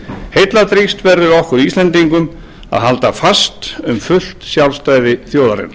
heilladrýgst verður okkur íslendingum að halda fast um fullt sjálfstæði þjóðarinnar